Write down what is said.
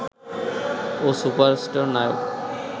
ও superstar নায়ক